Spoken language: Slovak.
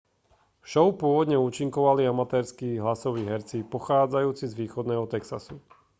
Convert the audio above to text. v šou pôvodne účinkovali amatérski hlasoví herci pochádzajúci z východného texasu